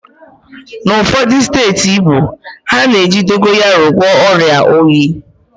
N'ụfọdụ steeti Igbo, ha na-eji dogayaro agwọ ọrịa oyi